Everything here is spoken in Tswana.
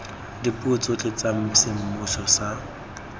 dipuo tsotlhe tsa semmuso tsa